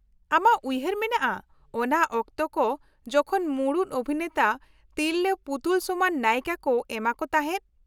ᱟᱢᱟᱜ ᱩᱭᱦᱟᱹᱨ ᱢᱮᱱᱟᱜᱼᱟ ᱚᱱᱟ ᱚᱠᱛᱚ ᱠᱚ ᱡᱚᱠᱷᱚᱱ ᱢᱩᱲᱩᱫ ᱚᱵᱷᱤᱱᱮᱛᱟ ᱛᱤᱨᱞᱟ. ᱯᱩᱛᱩᱞ ᱥᱚᱢᱟᱱ ᱱᱟᱭᱤᱠᱟ ᱠᱚ ᱮᱢᱟ ᱠᱚ ᱛᱟᱦᱮᱸᱫ ᱾